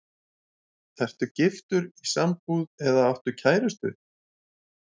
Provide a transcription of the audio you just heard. Ertu giftur, í sambúð eða áttu kærustu?